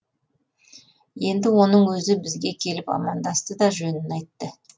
енді оның өзі бізге келіп амандасты да жөнін айтты